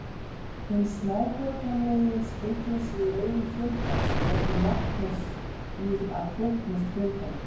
Hinn smáborgaralegi speglar sig í augum fjöldans og leggur metnað sinn í að þóknast fjöldanum.